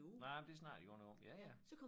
Nej men det snakkede de godt nok om ja ja